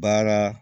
Baara